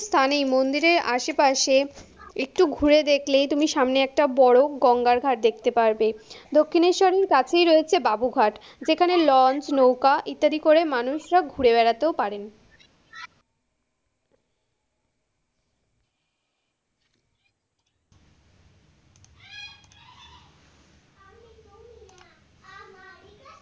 স্থানেই মন্দিরের আশেপাশে, একটু ঘুরে দেখলেই তুমি সামনে একটা বড় গঙ্গার ঘাট দেখতে পারবে, দক্ষিণেশ্বরের কাছেই রয়েছে বাবুঘাট, যেখানে লঞ্চ, নৌকা, ইত্যাদি করে মানুষ সব ঘুরে বেড়াতেও পারেন।